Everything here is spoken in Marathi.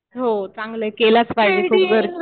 हो चांगलं आहे. केलंच पाहिजे. खूप गरजेचं